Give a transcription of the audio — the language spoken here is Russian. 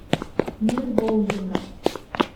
мир боулинга